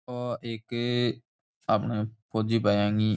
ओ एक आपने फौजी भैया गीं --